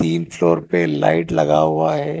तीन फ्लोर पे लाइट लगा हुआ है।